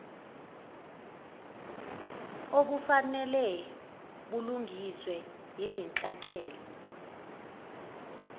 obufanele bulungiswe ezinhlakeni